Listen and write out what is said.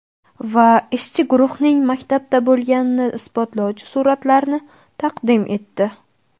Va ishchi guruhning maktabda bo‘lganini isbotlovchi suratlarni taqdim etdi.